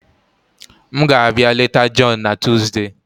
M ga-abịa leta John na Tuesday.